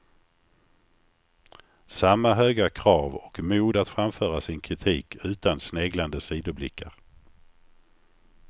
Samma höga krav och mod att framföra sin kritik utan sneglande sidoblickar.